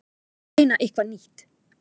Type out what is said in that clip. Reyna eitthvað nýtt.